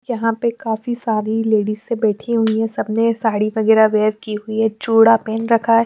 यहां पे काफी सारी लेडिसे बैठी हुई है सबने साड़ी वगैरह वेयर की हुई है चूड़ा पहन रखा है।